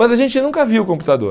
Mas a gente nunca viu o computador.